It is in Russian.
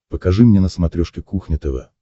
покажи мне на смотрешке кухня тв